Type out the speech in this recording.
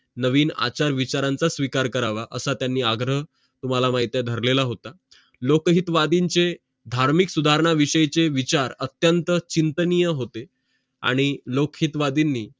नवीन आचार विचारांचं स्वीकार करावा असं त्यांनी आग्रह तुम्हाला माहित आहे भरलेलं होत लोकहितवादींचे धार्मिक सुधारणा विषयी चे विचार अत्यंत चिंतनीय हिते आणि लोकहितवादींनी